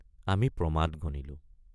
আমি প্ৰমাদ গণিলো।